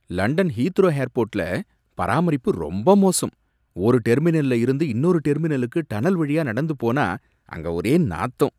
London Heathrow ஏர்போர்ட்ல பராமரிப்பு ரொம்ப மோசம். ஒரு டெர்மினல்ல இருந்து இன்னொரு டெர்மினலுக்கு டனல் வழியா நடந்து போனா அங்க ஒரே நாத்தம்